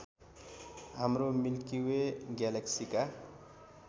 हाम्रो milky way ग्यालेक्सीका